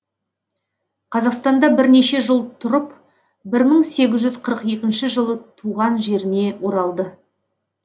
қазақстанда бірнеше жыл тұрып бір мың сегіз жүз қырық екінші жылы туған жеріне оралды